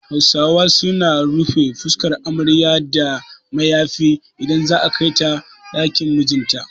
Hausawa su na rufe fuskar amarya da mayafi idan za'a kai ta ɗakin mijin ta